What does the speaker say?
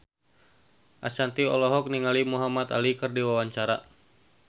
Ashanti olohok ningali Muhamad Ali keur diwawancara